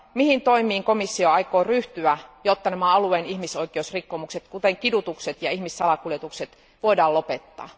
Mihin toimiin komissio aikoo ryhtyä, jotta nämä alueen ihmisoikeusrikkomukset kuten kidutukset ja ihmissalakuljetukset voidaan lopettaa?